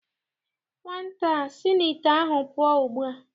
Nwata a si n' ite ahụ pụọ ugbu a!